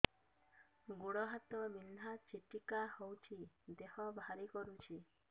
ଗୁଡ଼ ହାତ ବିନ୍ଧା ଛିଟିକା ହଉଚି ଦେହ ଭାରି କରୁଚି